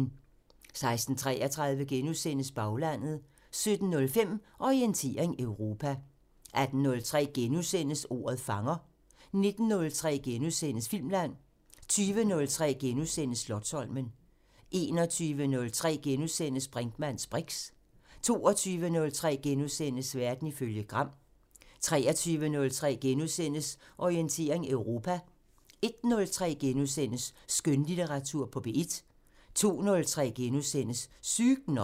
16:33: Baglandet * 17:05: Orientering Europa 18:03: Ordet fanger * 19:03: Filmland * 20:03: Slotsholmen * 21:03: Brinkmanns briks * 22:03: Verden ifølge Gram * 23:03: Orientering Europa * 01:03: Skønlitteratur på P1 * 02:03: Sygt nok *